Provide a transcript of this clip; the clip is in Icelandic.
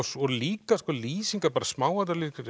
líka sko lýsingar smáatriði